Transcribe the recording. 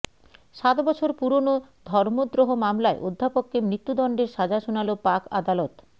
সাত বছর পুরনো ধর্মদ্রোহ মামলায় অধ্যাপককে মৃত্যুদণ্ডের সাজা শোনাল পাক আদালত